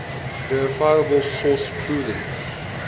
verifiable source proving